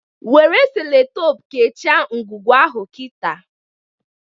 Nwere Sellotape kechịe ngwugwu ahụ kita!